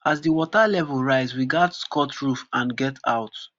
as di water level rise we gatz cut roof and get out